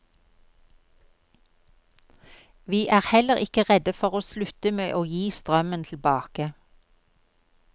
Vi er heller ikke redde for å slutte med å gi strømmen tilbake.